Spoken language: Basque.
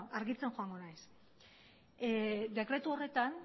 argitzen joango naiz dekretu horretan